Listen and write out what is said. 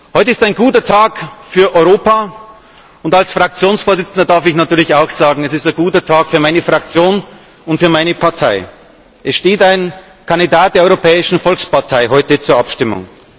Heute ist ein guter Tag für Europa, und als Fraktionsvorsitzender darf ich natürlich auch sagen Es ist ein guter Tag für meine Fraktion und für meine Partei. Es steht heute ein Kandidat der Europäischen Volkspartei zur Abstimmung.